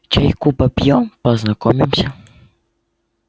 чайку попьём познакомимся